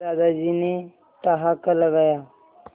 दादाजी ने ठहाका लगाया